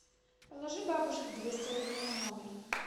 положи бабушке двести рублей на номер